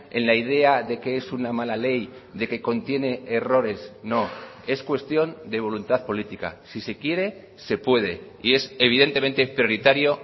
en la idea de que es una mala ley de que contiene errores no es cuestión de voluntad política si se quiere se puede y es evidentemente prioritario